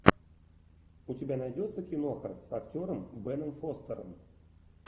у тебя найдется киноха с актером беном фостером